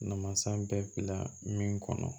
Namasa bɛɛ bila min kɔnɔ